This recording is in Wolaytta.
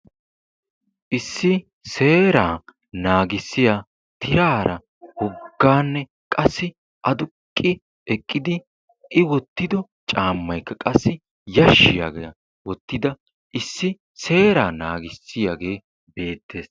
issi seeraa naagissiyaa tiraara woggaanne qassi aduqqi eqqidi i wottido caammayikka qassi yashshiyaagaa wottida issi seeraa naagissiyaagee beettees.